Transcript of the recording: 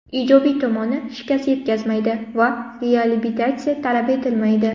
Ijobiy tomoni − shikast yetkazmaydi va reabilitatsiya talab etilmaydi.